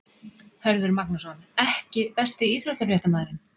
Hörður Magnússon EKKI besti íþróttafréttamaðurinn?